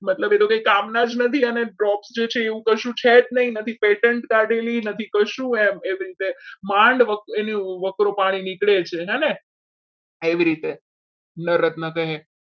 મતલબ કે એ તો કંઈ કામના જ નથી drop છે એવું કશું છે જ નહીં patent કાઢેલી નથી કશું એમ એવી રીતે માંડ એનો વકરો પાણી નીકળે છે હેને એવી રીતે ન રત્ન કહે.